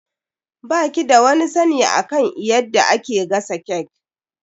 Ba ki da wani sani akan eyadda ake gasa cake.